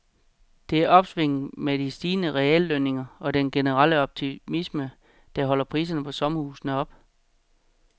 Det er opsvinget med de stigende reallønninger og den generelle optimisme, der holder priserne på sommerhuse oppe.